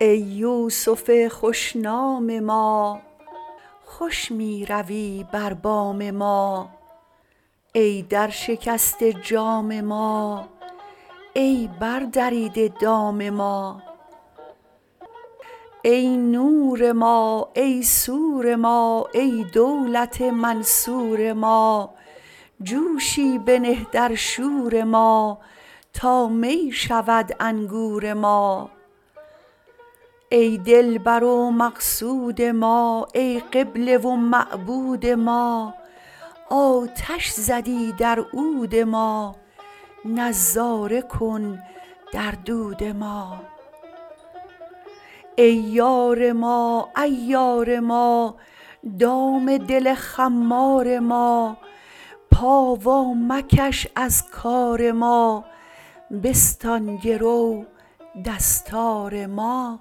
ای یوسف خوش نام ما خوش می روی بر بام ما ای درشکسته جام ما ای بردریده دام ما ای نور ما ای سور ما ای دولت منصور ما جوشی بنه در شور ما تا می شود انگور ما ای دلبر و مقصود ما ای قبله و معبود ما آتش زدی در عود ما نظاره کن در دود ما ای یار ما عیار ما دام دل خمار ما پا وامکش از کار ما بستان گرو دستار ما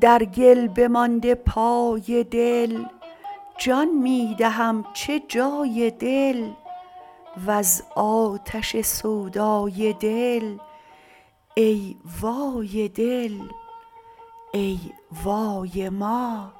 در گل بمانده پای دل جان می دهم چه جای دل وز آتش سودای دل ای وای دل ای وای ما